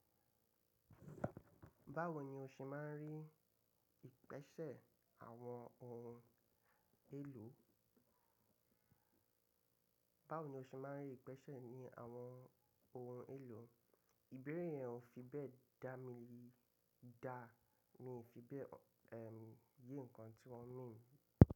Báwo ni o ṣe máa ń rí ìpèsè àwọn ohun èlò? Báwo ni o ṣe máa ń rí ìpèsè ní àwọn ohun èlò? Ìbéèrè yẹn ò fi bẹ́ẹ̀ dá mi, dá mi fi bẹ́ẹ̀, ẹm, rí ǹkan tí wọ́n mean.